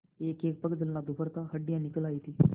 एकएक पग चलना दूभर था हड्डियाँ निकल आयी थीं